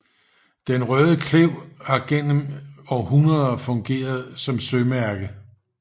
Den Røde Klev har gennem århundreder fungeret som sømærke